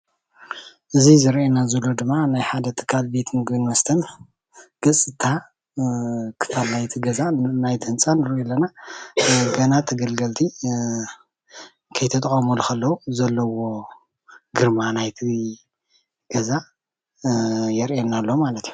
እዚ ዘርኢየና ዘሎ ድማ ናይ ሓደ ትካል ቤት ምግብን መስተን ግፅታ ክዳን ናይቲ ገዛ ናይቲ ህንፃ ንሪኦ ኣለና ግና ተገልገልቲ ከይተጠቀምሉ ከለው ዘሎ ግረማ ናይቲ ገዛ የርኢየና ኣሎ ማለት እዩ።